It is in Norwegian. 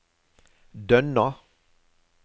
Dønna